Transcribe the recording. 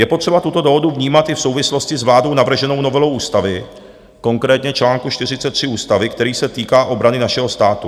Je potřeba tuto dohodu vnímat i v souvislosti s vládou navrženou novelou ústavy, konkrétně čl. 43 ústavy, který se týká obrany našeho státu.